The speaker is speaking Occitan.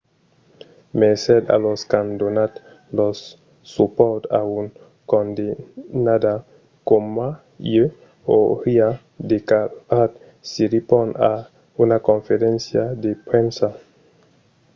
"mercés a los qu'an donat lor supòrt a un condemnada coma ieu, auriá declarat siriporn a una conferéncia de premsa